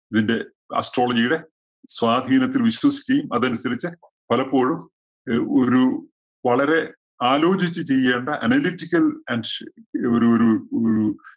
ഇതിന്റെ astrology യുടെ സ്വാധീനത്തില്‍ വിശ്വസിക്കുകയും അതനുസരിച്ച് പലപ്പോഴും രു ഒരു വളരെ ആലോചിച്ചു ചെയ്യേണ്ട analatical and ഒരു, ഒരു, ഒരു